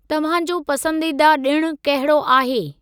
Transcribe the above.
तव्हांजो पसंदीदा ॾिण कहिड़ो आहे?